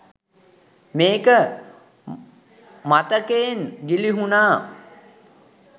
මේක මතකයෙන් ගිළිහුණා.